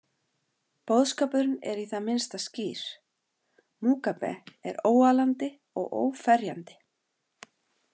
Boðskapurinn er í það minnsta skýr: Mugabe er óaalandi og óferjandi.